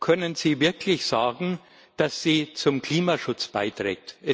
Können Sie wirklich sagen, dass sie zum Klimaschutz beiträgt?